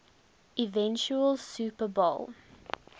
eventual super bowl